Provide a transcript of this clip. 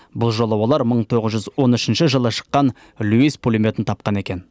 бұл жолы олар мың тоғыз жүз он үшінші жылы шыққан льюис пулеметін тапқан екен